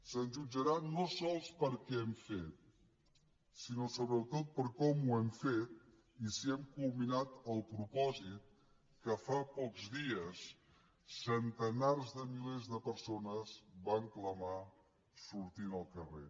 se’ns jutjarà no sols per què hem fet sinó sobretot per com ho hem fet i si hem culminat el propòsit que fa pocs dies centenars de milers de persones van clamar sortint al carrer